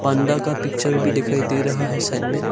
पांडा का पिक्चर भी दिखाई दे रहा है साइड में।